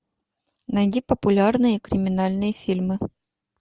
найди популярные криминальные фильмы